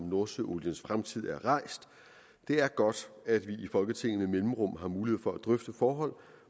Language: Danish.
om nordsøoliens fremtid er rejst det er godt at vi i folketinget med mellemrum har mulighed for at drøfte forhold